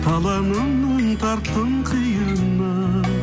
таланымның тарттың қиыны